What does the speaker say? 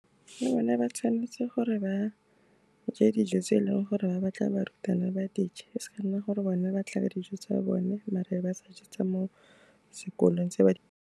Le bone ba tshwanetse gore ba je dijo tse e leng gore ba batla barutwana ba dije, e seng e leng gore bone ba tla ka dijo tsa bone mare e be ba sa je tsa mo sekolong, tse ba di.